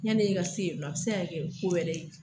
Yan' i ka se yen nɔ, a bɛ se ka kɛ ko wɛrɛ ye.